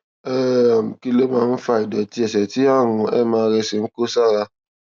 um kí ló máa ń fa ìdòtí ẹsè tí àrùn mrsa ń kó sí ara